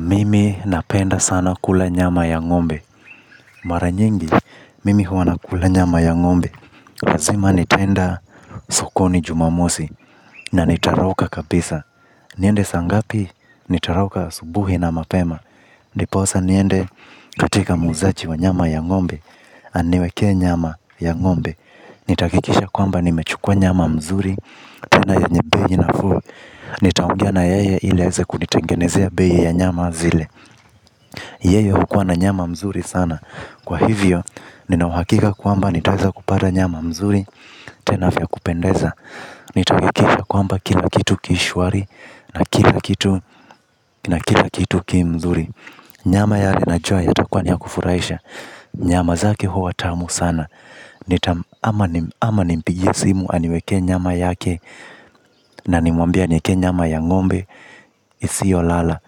Mimi napenda sana kula nyama ya ngombe. Mara nyingi, mimi huwana kula nyama ya ngombe lazima nitaenda sokoni jumamosi. Na nitarauka kabisa. Niende saa ngapi, nitarauka asubuhi na mapema ndiposa niende katika muuzaji wa nyama ya ngombe. Aniwekee nyama ya ngombe. Nitahakikisha kwamba nimechukua nyama mzuri. Tena yenye bei nafuu nitaongea na yeye ili aweze kunitengenezea bei ya nyama zile. Yeye hukua na nyama mzuri sana. Kwa hivyo, ninauhakika kwamba nitaweza kupata nyama mzuri. Tenavya kupendeza. Nitahakikishakwamba kila kitu kishwari. Na kila kitu, na kila kitu ki mzuri. Nyama yale na jua yatakua niya kufurahisha. Nyama zake huwa tamu sana. Ama nimpigie simu aniwekee nyama yake. Na nimwambia anieke nyama ya ngombe isiyo lala.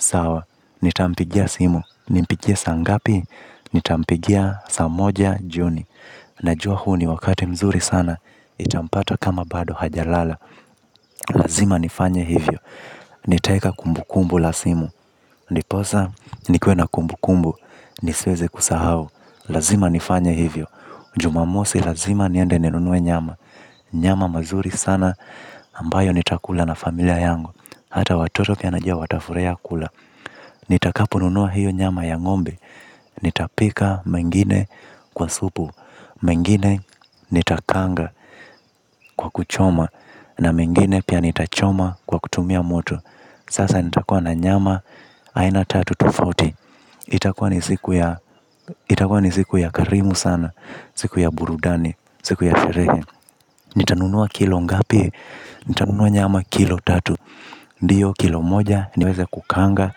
Sawa, nitampigia simu. Nimpigie sangapi. Ni tampigia saa moja jioni. Najua huoni wakati mzuri sana itampata kama bado hajalala. Lazima nifanye hivyo. Nitaeka kumbu kumbu lasimu. Ndiposa nikuena kumbu kumbu. Nisiweze kusahau. Lazima nifanye hivyo. Jumamosi lazima niende ninunue nyama. Nyama mazuri sana ambayo nitakula na familia yangu. Hata watoto pia najua watafurahia kula. Nitakaponunua hiyo nyama ya ngombe. Nitapika mengine kwa supu mengine nitakaanga kwa kuchoma. Na mengine pia nitachoma kwa kutumia moto sasa nitakua na nyama aina tatu tofauti itakua ni siku ya karimu sana siku ya burudani siku ya sherehe. Nitanunua kilo ngapi? Nitanunua nyama kilo tatu ndiyo kilo moja niweze kukaanga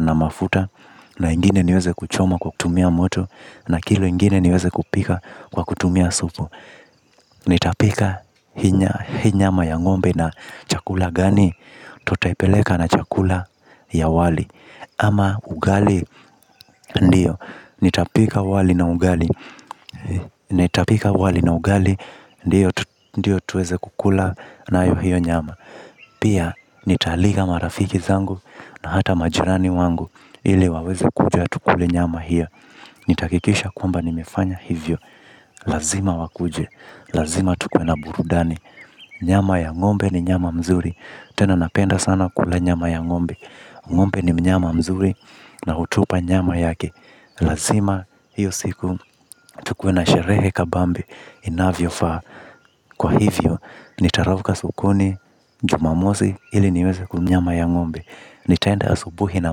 na mafuta. Na ingine niweze kuchoma kwa kutumia moto. Na kilo ingine niweze kupika kwa kutumia supu. Nitapika hii nyama ya ngombe na chakula gani. Tutaipeleka na chakula ya wali. Ama ugali ndio. Nitapika wali na ugali. Nitapika wali na ugali ndio tuweze kukula nayo hiyo nyama. Pia nitaalika marafiki zangu na hata majirani wangu ili waweze kuja tukule nyama hiyo. Nitahakikisha kwamba nimefanya hivyo. Lazima wakuje. Lazima tukuena burudani. Nyama ya ngombe ni nyama mzuri. Tena napenda sana kula nyama ya ngombe. Ngombe ni mnyama mzuri. Na hutupa nyama yake. Lazima hiyo siku. Tukuena sherehe kabambe. Inavyo faa. Kwa hivyo. Nitarauka sokoni. Jumamosi ili niweze kunyama ya ngombe. Nitaenda asubuhi na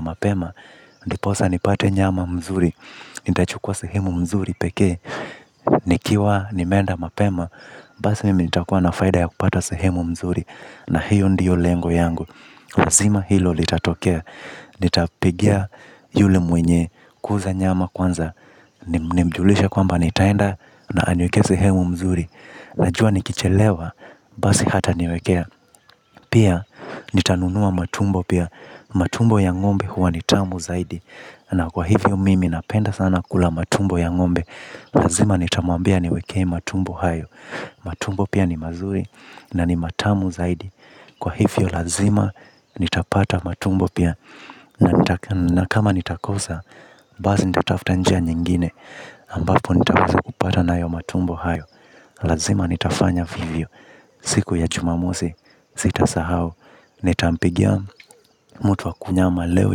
mapema. Ndiposa nipate nyama mzuri. Nita chukua sehemu mzuri pekee. Nikiwa nimeenda mapema. Basi mimi nitakua na faida ya kupata sehemu mzuri. Na hiyo ndiyo lengo yangu. Lazima hilo litatokea. Nitapigia yule mwenye kuuza nyama kwanza. Nimjulishe kwamba nitaenda na aniwekee sehemu mzuri. Najua nikichelewa basi hata niwekea. Pia nitanunua matumbo pia. Matumbo ya ngombe huwa nitamu zaidi. Na kwa hivyo mimi napenda sana kula matumbo ya ngombe. Lazima nitamwambia ani wekee matumbo hayo. Matumbo pia ni mazuri na ni matamu zaidi. Kwa hivyo lazima nitapata matumbo pia. Na kama nitakosa, basi nitatafutanjia nyingine ambapo nitaweza kupata nayo matumbo hayo. Lazima nitafanya vivyo. Siku ya jumamosi, sita sahau. Nitampigia mtuwa kunyama leo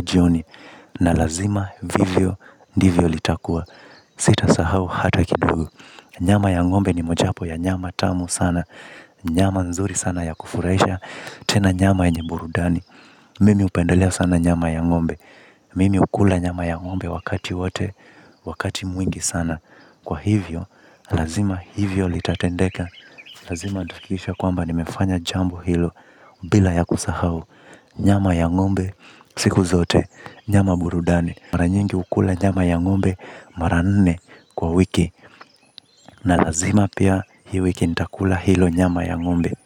jioni. Na lazima vivyo, ndivyo litakua. Sita sahau hata kidogo. Nyama ya ngombe ni mojapo ya nyama tamu sana. Nyama nzuri sana ya kufurahisha. Tena nyama yenye burudani. Mimi hupendelea sana nyama ya ngombe. Mimi hukula nyama ya ngombe wakati wote. Wakati mwingi sana. Kwa hivyo, lazima hivyo litatendeka. Lazima nitahakikisha kwamba nimefanya jambo hilo. Bila ya kusahau nyama ya ngombe, siku zote. Nyama burudani maranyingi hukula nyama ya ngombe. Maranne kwa wiki na lazima pia hii wiki nita kula hilo nyama ya ngombe.